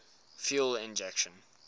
fuel injection